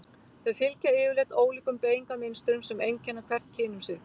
Þau fylgja yfirleitt ólíkum beygingarmynstrum sem einkenna hvert kyn um sig.